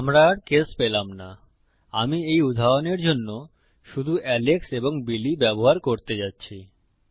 আমরা আর কেস পেলাম না আমি এই উদাহরণের জন্য শুধু এলেক্স এবং বিলি ব্যবহার করতে যাচ্ছি